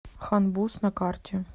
хан буз на карте